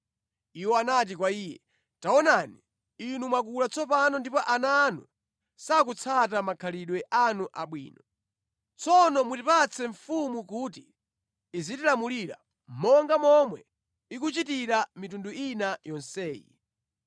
Iwo anati kwa iye “Taonani, inu mwakula tsopano ndipo ana anu sakutsata makhalidwe anu abwino. Tsono mutipatse mfumu kuti izitilamulira, monga momwe ikuchitira mitundu ina yonseyi.”